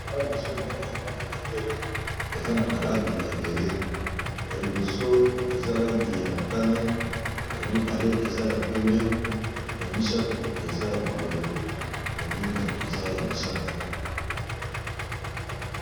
Awa liboso Nagai nazo mona bendele bendele Oyo eza naba langi ebeleya liboso motane ya mibale ya pembe ya misatu eza bololo mosusu Ezra ya mosaka